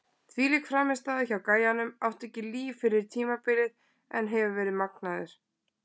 Þvílík frammistaða hjá gæjanum, átti ekki líf fyrir tímabilið en hefur verið magnaður!